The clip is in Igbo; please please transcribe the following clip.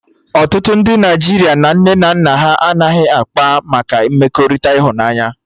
Ọtụtụ ndị Naịjirịa na nne na nna ha anaghị akpa maka mmekọrịta ịhụnanya